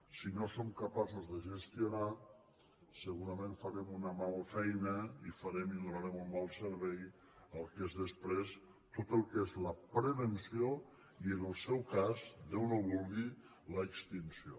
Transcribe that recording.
si no som capaços de gestionar segurament farem una mala feina i farem i donarem un mal servei al que és després tot el que és la prevenció i en el seu cas déu no ho vulgui l’extinció